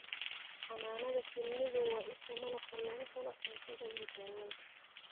Xannaanada shinnidu waa isha malabka laga helo cuntada iyo daawada.